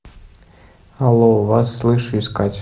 ало вас слыш искать